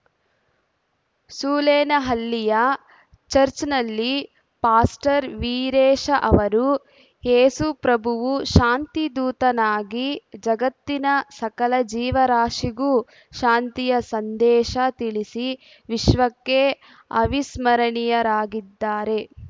ಸೂಲೆನಹಳ್ಳಿಯ church ನಲ್ಲಿ pastor Veeresha ಅವರು ಏಸು ಪ್ರಭುವು ಶಾಂತಿಧೂತನಾಗಿ ಜಗತ್ತಿನ ಸಕಲ ಜೀವರಾಶಿಗೂ ಶಾಂತಿಯ ಸಂದೇಶ ತಿಳಿಸಿ ವಿಶ್ವಕ್ಕೆ ಅವಿಸ್ಮರಣೀಯರಾಗಿದ್ದಾರೆ